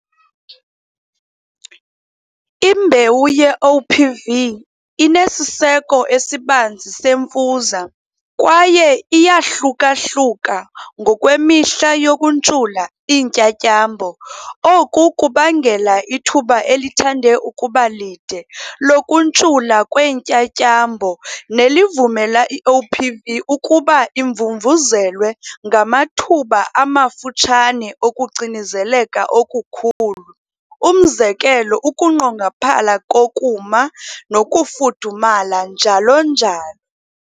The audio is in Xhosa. Imbewu ye-OPV inesiseko esibanzi semfuza kwaye iyahluka-hluka ngokwemihla yokuntshula iintyatyambo. Oku kubangela ithuba elithande ukuba lide lokuntshula kweentyatyambo, nelivumela i-OPV ukuba imvumvuzelwe ngamathuba amafutshane okucinezeleka okukhulu. Umzekelo ukunqongophala kokuma, nokufudumala, njalo nalo.